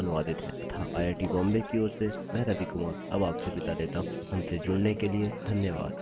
यह स्क्रिप्ट सकीना शेख द्वारा अनुवादित है तथा आई आई टी बॉम्बे की ओर से मैं रवि कुमार अब आपसे विदा लेता हूँ हमसे जुड़ने के लिए धन्यवाद